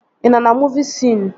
Ị nọ na muuvi sion?